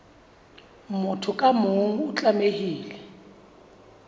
motho ka mong o tlamehile